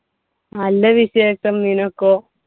നല്ല വിശേഷം. നിനക്കോ?